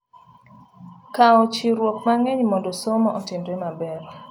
Kawo chiwruok mang'eny mondo somo otimre maber.